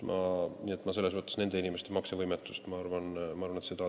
Selles mõttes nende inimeste maksevõimetust, ma arvan, ei teki.